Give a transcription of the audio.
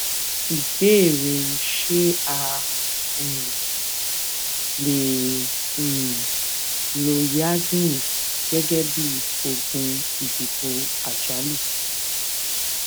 ìbéèrè ṣé a um lè um lo yasmin gégé bí oògùn ìdìbò àjálù